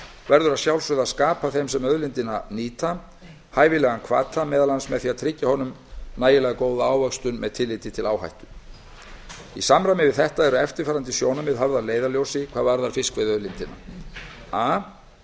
verður að sjálfsögðu að skapa þeim sem auðlindina nýtir hæfilegan hvata meðal annars með því að tryggja honum nægilega góða ávöxtun með tilliti til áhættu í samræmi við þetta eru eftirfarandi sjónarmið höfð að leiðarljósi hvað varðar fiskveiðiauðlindina a